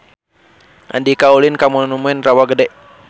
Andika ulin ka Monumen Rawa Gede